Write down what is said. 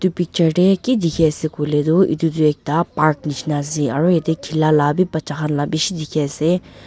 picture deh ki dikhi ase kui leh duh idutuh ekta park nishina ase aru yeteh khila lah bi bacha khan lah bishi dikhi ase.